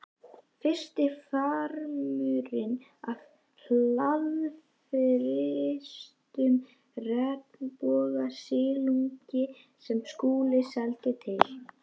Fyrsti farmurinn af hraðfrystum regnbogasilungi sem Skúli seldi til